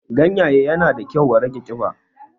Ganyaye yana da kyau wa rage ƙiba